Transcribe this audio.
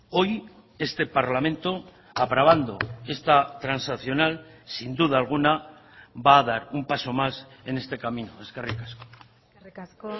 hoy este parlamento aprobando esta transaccional sin duda alguna va a dar un paso más en este camino eskerrik asko eskerrik asko